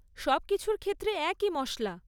সবকিছুর ক্ষেত্রে একই মশলা।